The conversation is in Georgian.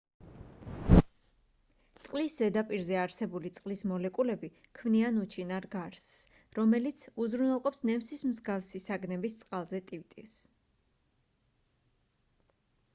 წლის ზედაპირზე არსებული წყლის მოლეკულები ქმნიან უჩინარ გარსს რომელიც უზრუნველყოფს ნემსის მსგავსი საგნების წყალზე ტივტივს